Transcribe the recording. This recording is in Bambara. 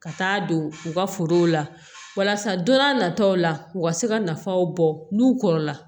Ka taa don u ka forow la walasa don n'a nataw la u ka se ka nafaw bɔ n'u kɔrɔ la